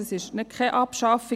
Dies ist keine Abschaffung.